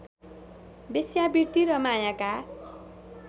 वेश्यावृत्ति र मायाका